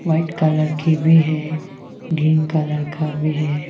White colour की भी है ग्रीन कलर का भी है।